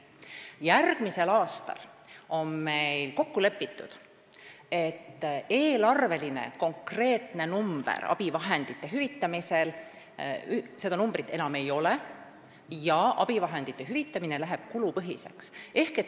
Järgmisel aastal on meil kokku lepitud, et eelarves konkreetset summat abivahendite hüvitamiseks enam ei ole ja abivahendite hüvitamine läheb kulupõhiseks.